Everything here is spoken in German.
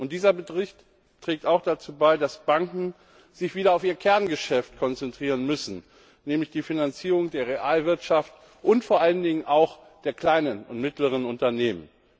Dieser Bericht trägt auch dazu bei, dass Banken sich wieder auf ihr Kerngeschäft konzentrieren müssen, nämlich die Finanzierung der Realwirtschaft und vor allen Dingen auch der kleinen und mittleren Unternehmen.